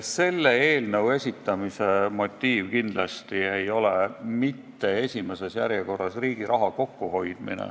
Selle eelnõu esitamise motiiv kindlasti ei ole esimeses järjekorras soov riigi raha kokku hoida.